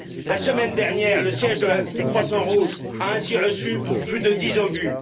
La semaine dernière, le siège du Croissant Rouge a ainsi reçu plus de dix obus.